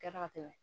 Kɛra ka tɛmɛ